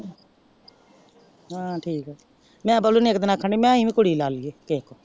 ਹਾਂ ਠੀਕ ਆ ਮੈਂ ਬੱਲੂ ਨੂੰ ਇਕ ਦਿਨ ਆਖਣ ਡਈ ਮੈਂ ਐਵੇਂ ਕੁੜੀ ਲਾ ਲਈਏ।